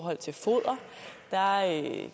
maria